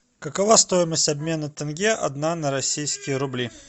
какова стоимость обмена тенге одна на российские рубли